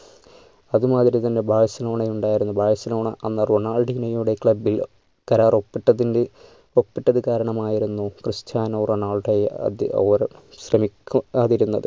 അതുമാതിരി തന്നെ ബാഴ്‌സലോണ ഉണ്ടായിരുന്നു ബാഴ്‌സലോണ അന്ന് റൊണാൾഡിനോയുടെ club ൽ കരാർ ഒപ്പിട്ടതിൻ്റെ ഒപ്പിട്ടതുകാരണം ആയിരുന്നു ക്രിസ്റ്റ്യാനോ റൊണാൾഡോ ഏർ ശ്രമിക്കു കാതിരുന്നത്.